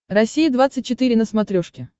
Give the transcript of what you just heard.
россия двадцать четыре на смотрешке